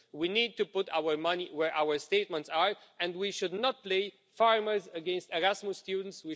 We need to put our money where our statements are, and we should not play farmers against Erasmus students.